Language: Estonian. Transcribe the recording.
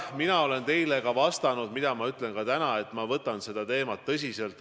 Mina olen teile enne öelnud ja ütlen ka täna, et ma võtan seda teemat tõsiselt.